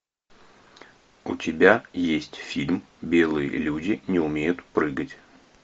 у тебя есть фильм белые люди не умеют прыгать